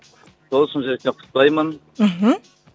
сол шын жүректен құттықтаймын мхм